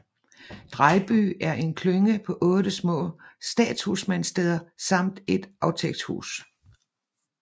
Drejby er en klynge på 8 små statshusmandssteder samt et aftægtshus